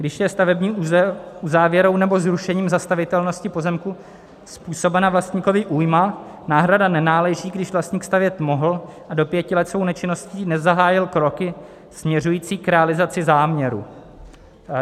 Když je stavební uzávěrou nebo zrušením zastavitelnosti pozemku způsobena vlastníkovi újma, náhrada nenáleží, když vlastník stavět mohl a do pěti let svou nečinností nezahájil kroky směřující k realizaci záměru.